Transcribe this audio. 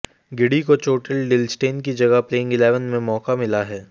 giddy को चोटिल Dale Steyn की जगह प्लेइंग इलेवन में मौका मिला है